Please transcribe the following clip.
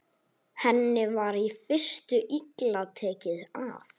Henni var í fyrstu illa tekið af